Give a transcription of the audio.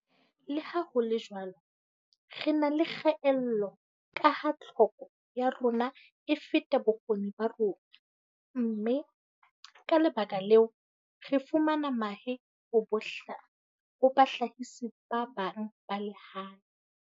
Le ha ho le jwalo, re na le kgaello kaha tlhoko ya rona e feta bokgoni ba rona mme, ka lebaka leo, re fumana mahe ho bahlahisi ba bang ba lehae.